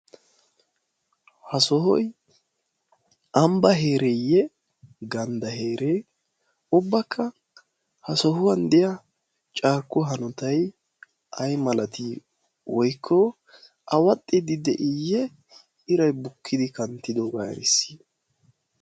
ha sohoi ambba heereeyye gandda heeree? ubbakka ha sohuwan de7iya carkku hanotai ai malatii woikko a waxxiddi de7iiyye irai bukkidi kanttidoogaa eriisi?